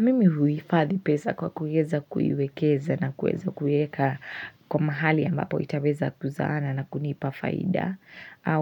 Mimi huhifadhi pesa kwa kuweza kuiwekeza na kuweza kueka kwa mahali ambapo itaweza kuzaana na kunipa faida.